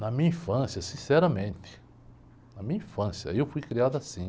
Na minha infância, sinceramente, na minha infância, eu fui criado assim.